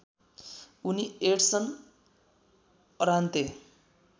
उनी Edson Arantes